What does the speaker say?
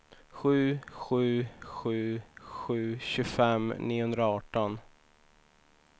sju sju sju sju tjugofem niohundraarton